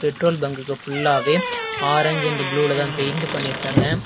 Petrol bunk பியுல்லாவே ஆரஞ்சு and ப்ளூலதான் பெயிண்ட் பண்ணிருக்காங்க.